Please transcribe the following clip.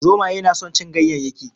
Zomaye na son cin ganyayyakin